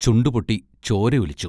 ചുണ്ടു പൊട്ടി ചോര ഒലിച്ചു.